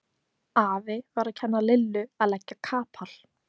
Afi var að kenna Lillu að leggja kapal.